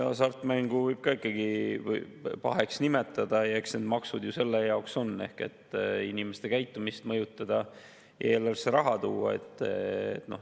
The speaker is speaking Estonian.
Hasartmängu võib ka ikkagi paheks nimetada ja eks need maksud ju selle jaoks ole, et inimeste käitumist mõjutada ja eelarvesse raha tuua.